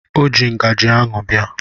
O ji ngajị ahụ bịa.